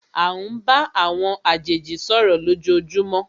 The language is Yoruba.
À ń bá àwọn àjèjì sọ̀rọ̀ lójoojúmó.